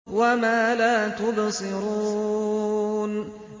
وَمَا لَا تُبْصِرُونَ